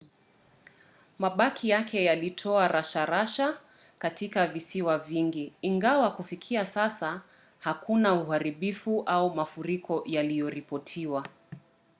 mabaki yake yalitoa rasharasha katika visiwa vingi ingawa kufikia sasa hakuna uharibifu au mafuriko yaliyoripotiwa